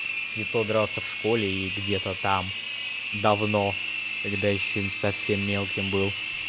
и то дрался в школе и где-то там давно когда ещё совсем мелким был